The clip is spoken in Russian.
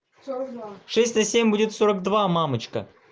сорок два шесть на семь будет сорок два мамочка